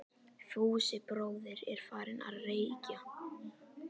Fúsi bróðir er farinn að- reykja!